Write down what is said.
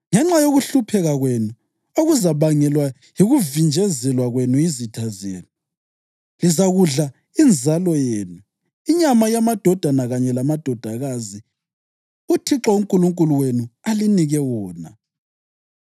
Ngenxa yokuhlupheka kwenu okuzabangelwa yikuvinjezelwa kwenu yizitha zenu, lizakudla inzalo yenu, inyama yamadodana kanye lamadodakazi uThixo uNkulunkulu wenu alinike wona.